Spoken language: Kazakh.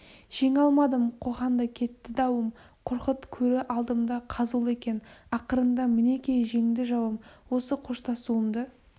жеңе алмадым қоқанда кетті дауым қорқыт көрі алдымда қазулы екен ақырында мінекей жеңді жауым осы қоштасуымды